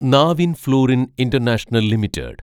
Navin Fluorine International limited